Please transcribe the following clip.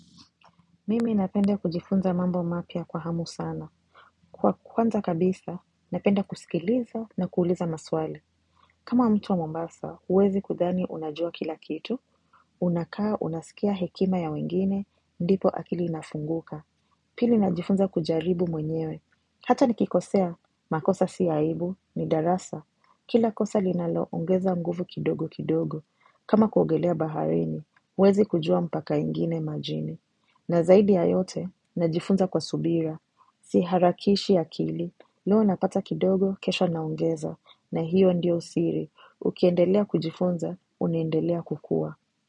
Mimi napenda kujifunza mambo mapya kwa hamu sana. Kwa kuanza kabisa, napenda kusikiliza na kuuliza maswali. Kama mtu wa mombasa, huwezi kudhani unajua kila kitu. Unakaa unasikia hekima ya wengine, ndipo akili inafunguka. Pili najifunza kujaribu mwenyewe. Hata nikikosea, makosa si aibu, ni darasa. Kila kosa linaloongeza nguvu kidogo kidogo. Kama kuogelea baharini, huwezi kujua mpaka ingine majini. Na zaidi ya yote, najifunza kwa subira. Siharakishi akili. Leo napata kidogo, kesho naongeza. Na hiyo ndiyo siri. Ukiendelea kujifunza, unaendelea kukua.